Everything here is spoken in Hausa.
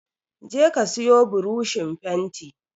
Je ka siyo buroshin fenti